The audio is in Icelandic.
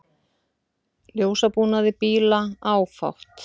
Ljósabúnaði bíla áfátt